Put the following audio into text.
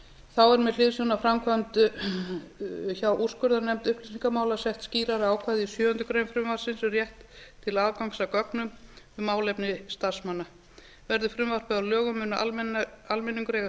þá er með hliðsjón af framkvæmd hjá úrskurðarnefnd upplýsingamála sett skýrara ákvæði í sjöundu greinar frumvarpsins um rétt til aðgangs að gögnum um málefni starfsmanna verði frumvarpið að lögum mun almenningur eiga